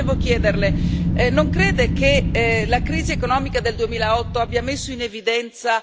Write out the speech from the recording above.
Però io volevo chiederle non crede che la crisi economica del 2008 abbia messo in evidenza